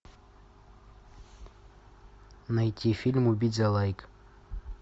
найти фильм убить за лайк